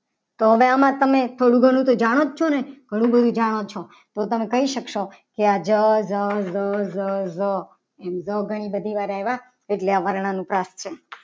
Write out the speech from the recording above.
કડામાં તું થોડું ઘણું જાણો છો. ને ઘણું બધું જાણો છો એમ પણ કહી શકશો. કે આ જજ ર ર ર એમ તો આ ઘણી બધી વાર આયા એટલે આ વર્ણાનુપ્રાસ છે.